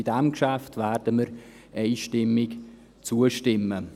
Diesem Geschäft werden wir einstimmig zustimmen.